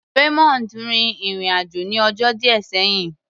Raymond rin ìrìn-àjò ní ọjọ́ díẹ̀ sẹ́yìn.